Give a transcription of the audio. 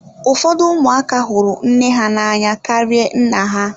Ụfọdụ ụmụaka hụrụ nne ha n'anya karịa nna ha.